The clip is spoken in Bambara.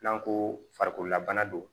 N'an ko farikolola bana don